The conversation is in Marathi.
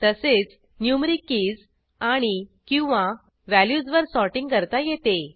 तसेच न्युमरीक कीज आणिकिंवा व्हॅल्यूजवर सॉर्टिंग करता येते